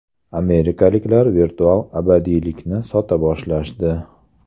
Amerikaliklar virtual abadiylikni sota boshlashdi.